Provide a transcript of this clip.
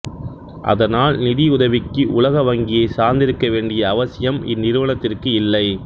அதனால் நிதியுதவிக்கு உலக வங்கியைச் சார்ந்திருக்க வேண்டிய அவசியம் இந் நிறுவனத்திற்கு இல்லை